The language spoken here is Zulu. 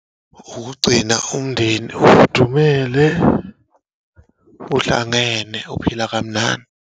Ukugcina umndeni ufudumele, uhlangene, uphila kamnandi.